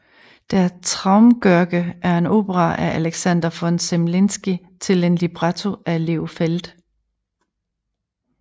Der Traumgörge er en opera af Alexander von Zemlinsky til en libretto af Leo Feld